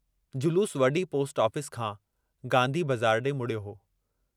जलूस वडी post office खां गांधी बज़ार डे मुड़ियो हो।